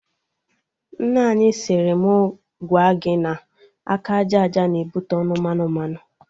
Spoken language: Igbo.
Nne anyị siri mụ gwa gị na aka aja aja na-ebute ọnụ mmanụ mmanụ